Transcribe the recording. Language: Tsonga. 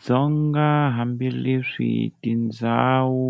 Dzonga, hambi leswi tindzhawu